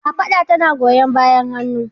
Kafada tana goyan bayan hannu.